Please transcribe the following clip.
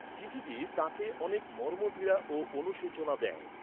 চিঠিটি তাঁকে অনেক মর্মপীড়া ও অনুশোচনা দেয়।